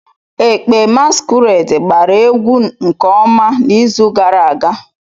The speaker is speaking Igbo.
Ekpe masquerade gbara egwu nke ọma n'izu gara aga.